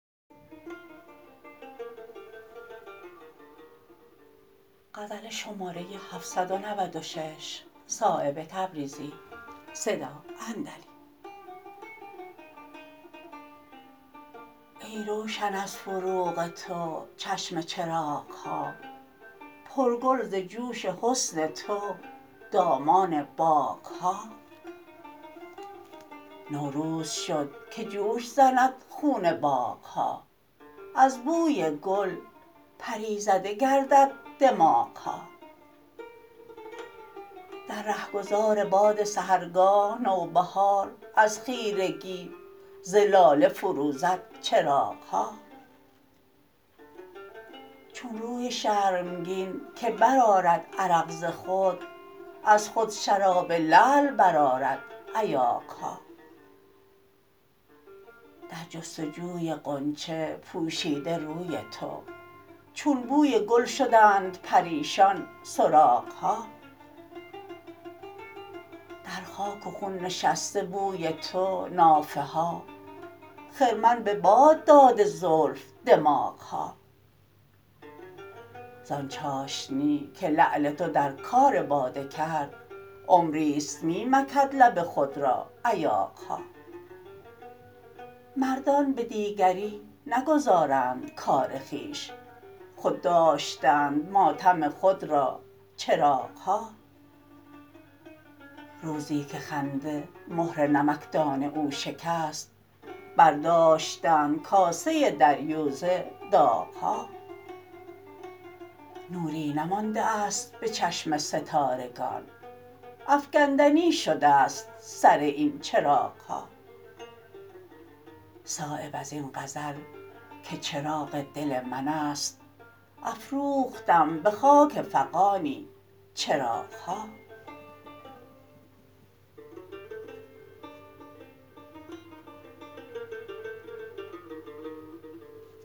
ای روشن از فروغ تو چشم چراغ ها پر گل ز جوش حسن تو دامان باغ ها نوروز شد که جوش زند خون باغ ها از بوی گل پری زده گردد دماغ ها در رهگذار باد سحرگاه نوبهار از خیرگی ز لاله فروزد چراغ ها چون روی شرمگین که برآرد عرق ز خود از خود شراب لعل برآرد ایاغ ها در جستجوی غنچه پوشیده روی تو چون بوی گل شدند پریشان سراغ ها در خاک و خون نشسته بوی تو نافه ها خرمن به باد داده زلف دماغ ها زان چاشنی که لعل تو در کار باده کرد عمری است می نکند لب خود ایاغ ها مردان به دیگری نگذارند کار خویش خود داشتند ماتم خود را چراغ ها روزی که خنده مهر نمکدان او شکست برداشتند کاسه دریوزه داغ ها نوری نمانده است به چشم ستارگان افکندنی شده است سر این چراغ ها صایب ازین غزل که چراغ دل من است افروختم به خاک فغانی چراغ ها